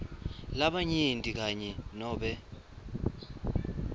labanyenti kanye nobe